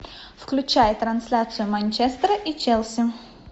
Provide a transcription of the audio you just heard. включай трансляцию манчестера и челси